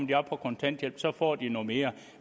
de op på kontanthjælp og så får de noget mere